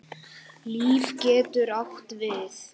Líf getur átt við